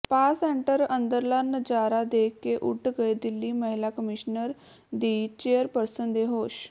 spa centre ਅੰਦਰਲਾ ਨਜ਼ਾਰਾ ਦੇਖ ਕੇ ਉੱਡ ਗਏ ਦਿੱਲੀ ਮਹਿਲਾ ਕਮਿਸ਼ਨਰ ਦੀ ਚੇਅਰਪਰਸਨ ਦੇ ਹੋਸ਼